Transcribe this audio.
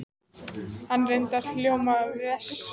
Hann reyndi að hljóma festulega en röddin skalf enn.